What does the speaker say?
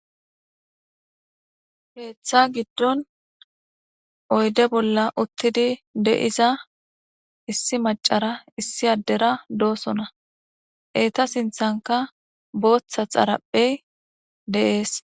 Pirde keeththa giddon oydde bolla uttidi de'iza issi maccara issi adera dossonna. Etta sinththankka booththa xaaraphey de'es.